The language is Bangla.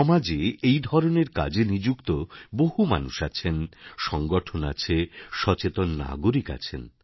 সমাজে এই ধরনের কাজে নিযুক্ত বহু মানুষ আছেন সংগঠন আছে সচেতন নাগরিক আছেন